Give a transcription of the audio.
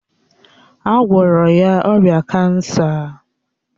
A gwọrọ ya ọrịa kansa